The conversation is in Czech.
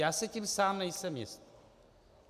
Já si tím sám nejsem jist.